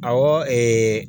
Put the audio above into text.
Awɔ ɛɛ